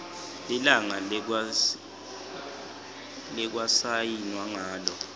lilanga lekwasayinwa ngalo